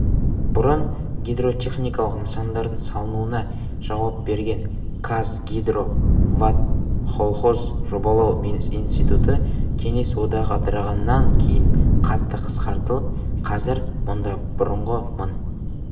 бұрын гидротехникалық нысандардың салынуына жауап берген казгидроводколхоз жобалау институты кеңес одағы ыдырағаннан кейін қатты қысқартылып қазір мұнда бұрынғы мың